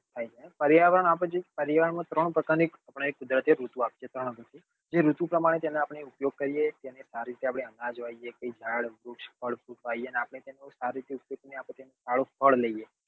પરિવાર માં પરિવાર માં ત્રણ પ્રકાર ના તે ઋતુ પ્રમાણે જેને આપડે ઉપયોગ કરીએ જેને સારી રીતે આપડે અનાજ વાવવી સારું ફળ નીકળે